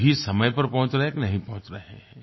सही समय पर पहुँच रहे हैं कि नहीं पहुँच रहे हैं